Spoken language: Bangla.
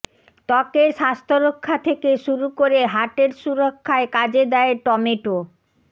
ত্বকের স্বাস্থ্য রক্ষা থেকে শুরু করে হার্টের সুরক্ষায় কাজে দেয় টমেটো